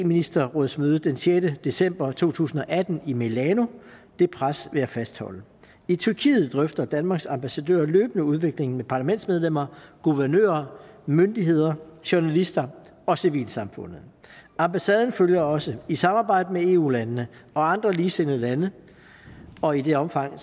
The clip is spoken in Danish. ministerrådsmødet den sjette december to tusind og atten i milano og det pres vil jeg fastholde i tyrkiet drøfter danmarks ambassadør løbende udviklingen med parlamentsmedlemmer guvernører myndigheder journalister og civilsamfundet ambassaden følger også i samarbejde med eu landene og andre ligesindede lande og i det omfang